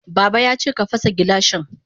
Baba yace ka fasa gilashin.